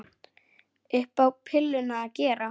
Upp á pilluna að gera.